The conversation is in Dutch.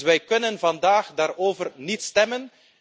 Dus wij kunnen vandaag daarover niet stemmen.